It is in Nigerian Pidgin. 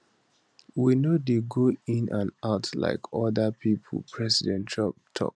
we no dey go in and out like oda pipo president trump tok